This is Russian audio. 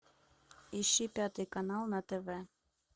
ищи пятый канал на тв